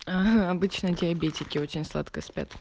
ага обычно диабетики очень сладко спят